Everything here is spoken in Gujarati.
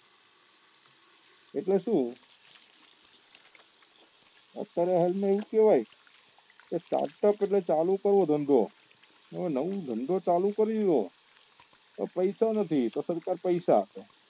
એટલે શું અત્યારે હાલ માં એવું કેવાય કે start up એટલે ચાલુ કરવો ધંધો ને નવો ધંધો ચાલુ કરવો હોય તો પૈસા નથી તો સરકાર પૈસા આપે